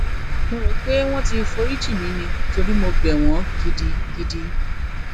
mo rò pé wọn ti forí jì mí ni torí mo bẹ wọn gidigidi